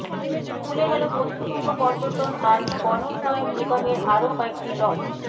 খুলে গেল পশ্চিমবঙ্গ পর্যটন আর বনোন্নয়ন নিগমের আরও কয়েকটি লজ